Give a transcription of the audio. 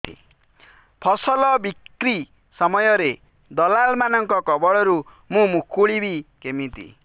ଫସଲ ବିକ୍ରୀ ସମୟରେ ଦଲାଲ୍ ମାନଙ୍କ କବଳରୁ ମୁଁ ମୁକୁଳିଵି କେମିତି